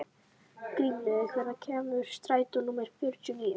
Grímlaugur, hvenær kemur strætó númer fjörutíu og níu?